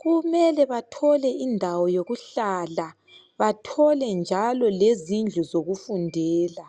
Kumele bathole indawo yokuhlala bathole njalo lezindlu zokufundela.